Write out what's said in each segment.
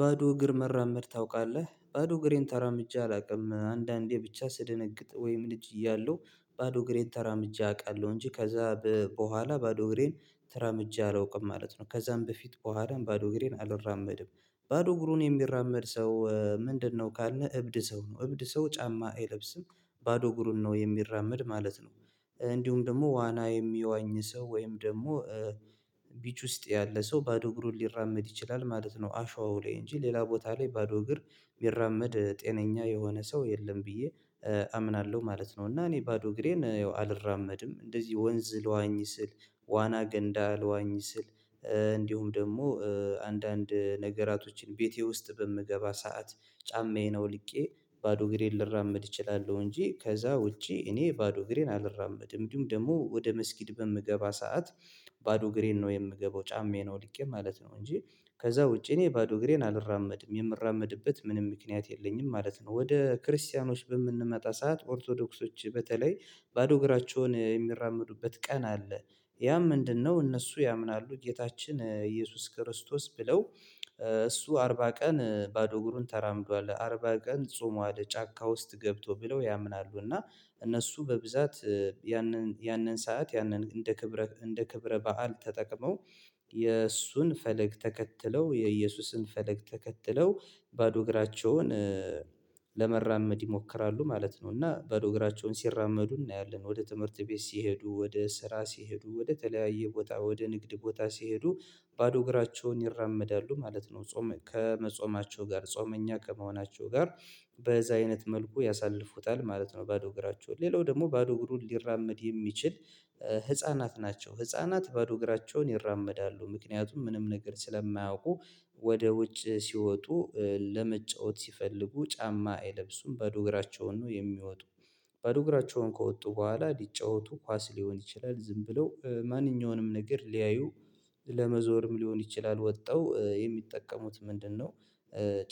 ባዶ እግር መራመድ ታውቃለህ ባዶ እግሬን ተራምጄ አላውቅም አንዳንዴ ብቻ ስደነግጥ ወይም ልጅ እያለሁ ባዶ እግሬን ተራምጄ አውቃለሁ እንጂ ከዛ በኋላ ባዶ እግሬን ተራምጄ አላውቅም ማለት ነው። ከዛም በፊት በኋላም ባዶ እግሬን አልራመድም ባዶ እግሩን የሚራመድ ሰው ምንድነው ካልን እብድ ሰው ነው። እብድ ሰው ጫማ አይለብስም ባዶ እግሩን ነው የሚራመድ ማለት ነው። እንዲሁም ደግሞ ዋና የሚያዋኝ ሰው ወይም ደግሞ ቢች ውስጥ ያለ ሰው ባዶ እግሩን ሊራመድ ይችላል ማለት ነው። አሸዋው ላይ እንጂ ሌላ ቦታ ላይ ባዶ እግር የሚራመድ ጤነኛ የሆነ ሰው የለም ብዬ አምናለሁ ማለት ነው። እና እኔ ባዶ እግሬን አልራመድም እንደዚህ ወንዝ ልዋኝ ስል ዋና ገንዳ ልዋኝ ስል እንዲሁም ደግሞ አንዳንድ ነገራቶችን ቤቴ ውስጥ በምገባ ሰዓት ጫማዬ አውልቄ ባዶ እግሬን ልራመድ እችላለሁ። እንጂ ከዛ ውጪ እኔ ባዶ እግሬን አልራመድም። እንዲሁም ደግሞ ወደ መስጊድ በምገባ ሰዓት ባዶ ግሬን ነው የምገባው ጫማዬ ነው አውልቄ ማለት ነው። እንጂ ከዛ ውጪ እኔ ባዶ ግሬን አልራመድም የምራመድበት ምንም ምክንያት የለኝም ማለት ነው። ወደ ክርስቲያኖች በምንመጣ ሰዓት ኦርቶዶክሶች በተለይ ባዶ እግራቸውን የሚራመዱበት ቀን አለ ያም ምንድነው? እነሱ ያምናሉ ጌታችን ኢየሱስ ክርስቶስ ብለው እሱ አርባ ቀን ባዶ እግሩን ተራምዷል አርባ ቀን ጾሟድ ጫካ ውስጥ ገብቶ ብለው ያምናሉ። እና እነሱ በብዛት ያንን ያንን ሰዓት ያንን እንደ ክብረ እንደ ክብረ በዓል ተጠቅመው የእሱን ፈለግ ተከትለው የኢየሱስን ፈለግ ተከትለው ባዶ እግራቸውን ለመራመድ ይሞክራሉ ማለት ነው። እና ባዶ እግራቸውን ሲራመዱ እናያለን ወደ ትምህርት ቤት ሲሄዱ ወደ ስራ ሲሄዱ ወደ ተለያየ ቦታ ወደ ንግድ ቦታ ሲሄዱ ባዶ እግራቸውን ይራመዳሉ ማለት ነው። ጾም ከመጾማቸው ጋር ጾመኛ ከመሆናቸው ጋር በዛ አይነት መልኩ ያሳልፉታል ማለት ነው። ባዶ እግራቸው ሌላው ደግሞ ባዶ እግሩን ሊራመድ የሚችል ህፃናት ናቸው። ህፃናት ባዶ እግራቸውን ይራመዳሉ ምክንያቱም ምንም ነገር ስለማያውቁ። ወደ ውጭ ሲወጡ ለመጫወት ሲፈልጉ ጫማ አይለብሱም ባዶ እግራቸውን ነው የሚወጡ። ባዶ እግራቸውን ከወጡ በኋላ ሊጫወቱ ኳስ ሊሆን ይችላል ዝም ብለው ማንኛውንም ነገር ሊያዩ ለመዞርም ሊሆን ይችላል ወጥተው የሚጠቀሙት ምንድነው?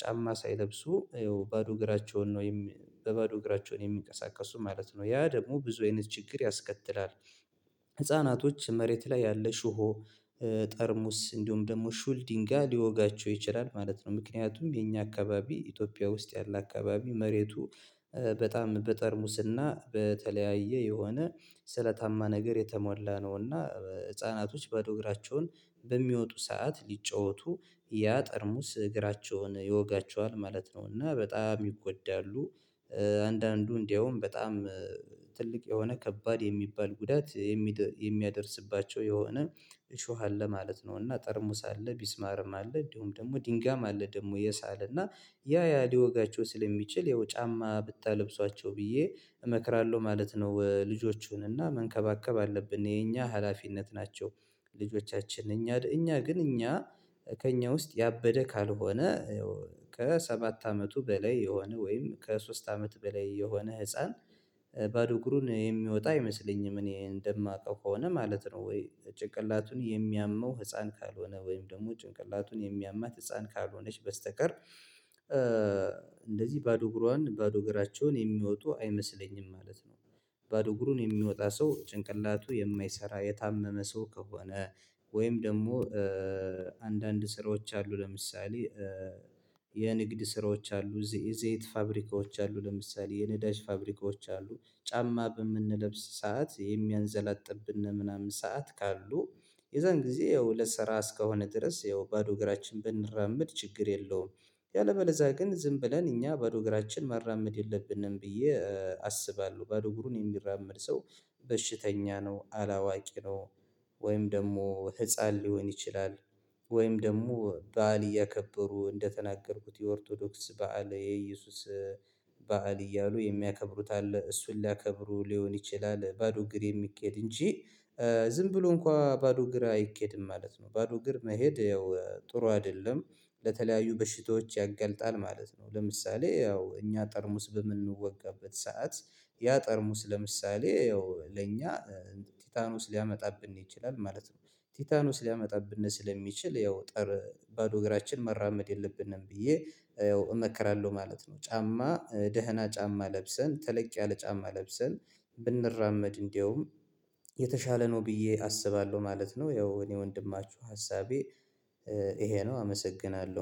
ጫማ ሳይለብሱ ይኸው ባዶ እግራቸውን ነው ወይም በባዶ እግራቸውን የሚንቀሳቀሱ ማለት ነው ያ ደግሞ ብዙ አይነት ችግር ያስከትላል። ህፃናቶች መሬት ላይ ያለ ሽቦ ጠርሙስ እንዲሁም ደግሞ ሹል ድንጋይ ሊወጋቸው ይችላል ማለት ነው። ምክንያቱም የኛ አካባቢ ኢትዮጵያ ውስጥ ያለ አካባቢ መሬቱ በጣም በጠርሙስና በተለያየ የሆነ ስለታማ ነገር የተሞላ ነው። እና ህፃናቶች ባዶ እግራቸውን በሚወጡ ሰዓት ሊጫወቱ ያ ጠርሙስ እግራቸውን ይወጋቸዋል ማለት ነው። እና በጣም ይጎዳሉ። አንዳንዱ እንደውም በጣም ትልቅ የሆነ ከባድ የሚባል ጉዳት የሚያደርስባቸው የሆነ እሾህ አለ ማለት ነው። እና ጠርሙስ አለ ሚስማርም አለ እንዲሁም ደግሞ ድንጋም አለ ደግሞ የሳል እና ያ ያ ሊወጋቸው ስለሚችል ያው ጫማ ብታለብሷቸው ብዬ እመክራለሁ ማለት ነው። ልጆቹንና መንከባከብ አለብን የኛ ሀላፊነት ናቸው። ልጆቻችን እኛ እኛ ግን እኛ ከእኛ ውስጥ ያበደ ካልሆነ ከሰባት አመቱ በላይ የሆነ ወይም ከሶስት አመት በላይ የሆነ ህፃን ባዶ እግሩን የሚወጣ አይመስለኝም እኔ እንደማውቀው ከሆነ ማለት ነው። ወይ ጭንቅላቱን የሚያመው ህፃን ካልሆነ ወይም ደግሞ ጭንቅላቱን የሚያማት ህፃን ካልሆነች በስተቀር እንደዚህ ባዶ እግሯን ባዶ እግራቸውን የሚወጡ አይመስለኝም ማለት ነው። ባዶ እግሩን የሚወጣ ሰው ጭንቅላቱ የማይሰራ የታመመ ሰው ከሆነ ወይም ደግሞ አንዳንድ ስራዎች አሉ ለምሳሌ የንግድ ስራዎች አሉ የዘይት ፋብሪካዎች አሉ ለምሳሌ የነዳጅ ፋብሪካዎች አሉ ጫማ በምንለብስ ሰዓት የሚያንዘላጥብን ምናምን ሰዓት ካሉ የዛን ጊዜ ወደ ስራ እስከሆነ ድረስ ያው ባዶ እግራችን ብንራመድ ችግር የለውም። ያለምበለዛ ግን ዝም ብለን እኛ ባዶ እግራችን ማራመድ የለብንም ብዬ አስባለሁ። ባዶ እግሩን የሚራመድ ሰው በሽተኛ ነው አላዋቂ ነው። ወይም ደግሞ ህፃን ሊሆን ይችላል። ወይም ደግሞ በዓል እያከበሩ እንደተናገርኩት የኦርቶዶክስ በዓል የኢየሱስ በዓል እያሉ የሚያከብሩት አለ እሱን ሊያከብሩ ሊሆን ይችላል ባዶ ግር የሚኬድ እንጂ ዝም ብሎ እንኳን በባዶ እግር አይኬድም ማለት ነው። ባዶ እግር መሄድ ያው ጥሩ አይደለም። ለተለያዩ በሽታዎች ያገልጣል ማለት ነው። ለምሳሌ ያው እኛ ጠርሙስ በምንወጋበት ሰዓት ያ ጠርሙስ ለምሳሌ ያው ለኛ ቲታኖስ ሊያመጣብን ይችላል ማለት ነው። ቲታኖስ ሊያመጣብን ስለሚችል ያው ጠር ባዶ እግራችን መራመድ የለብንም ብዬ ያው እመክራለሁ ማለት ነው። ጫማ ደህና ጫማ ለብሰን ተለቅ ያለ ጫማ ለብሰን ብንራመድ እንደውም የተሻለ ነው ብዬ አስባለሁ ማለት ነው። ያው እኔ ወንድማችሁ ሀሳቤ ይሄ ነው። አመሰግናለሁ